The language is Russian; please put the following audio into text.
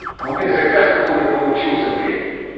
а у меня заказ какой-то получился блять